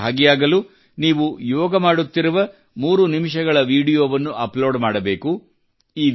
ಇದರಲ್ಲಿ ಭಾಗಿಯಾಗಲು ನೀವು ಯೋಗ ಮಾಡುತ್ತಿರುವ ಮೂರು ನಿಮಿಷಗಳ ವಿಡಿಯೋವನ್ನು ಅಪ್ಲೋಡ್ ಮಾಡಬೇಕು